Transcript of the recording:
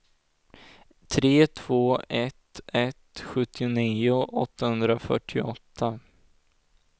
tre två ett ett sjuttionio åttahundrafyrtioåtta